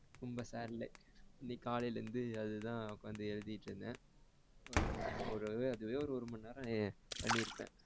ரொம்ப sad day ல இன்னைக்கு காலைல இருந்து அதுதான் உக்கார்ந்து எழுதிட்டு இருந்தேன் ரெண்டு மூணு அதே ஒருமணிநேரம் பண்ணி இருப்ப